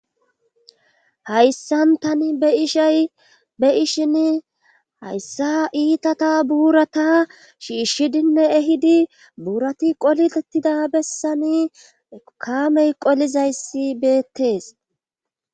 hayssantani eishaybe ishin hayssa iitata buurata shiishshidinne ehidi buurati qolilettida bessani ekamey qolizayssi beettees